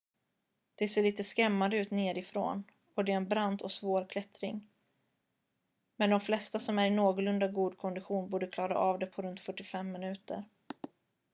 det ser lite skrämmande ut nerifrån och det är en brant och svår klättring med de flesta som är i någorlunda god kondition borde klara av det på runt 45 minuter